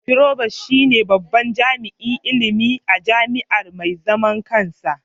Provost shine babban jami'in ilimi a jami'a mai zaman kansa.